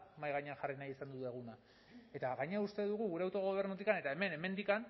mahai gainean jarri nahi izan duguna eta gainera uste dugu gure autogobernutik eta hemendik